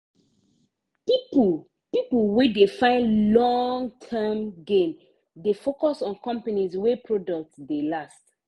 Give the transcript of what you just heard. people people wey dey find long-term gain dey focus on companies wey product dey last.